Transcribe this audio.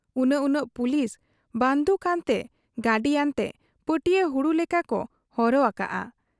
ᱩᱱᱟᱹᱜ ᱩᱱᱟᱹᱜ ᱯᱩᱞᱤᱥ ᱵᱟᱺᱫᱩᱠ ᱟᱱᱛᱮ ᱜᱟᱹᱰᱤᱟᱱᱛᱮ ᱯᱟᱹᱴᱤᱭᱟᱹ ᱦᱩᱲᱩ ᱞᱮᱠᱟᱠᱚ ᱦᱚᱨᱦᱚ ᱟᱠᱟᱜ ᱟ ᱾